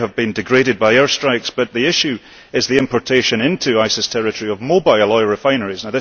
They have been degraded by air strikes but the issue is the importation into ISIS terrority of mobile oil refineries.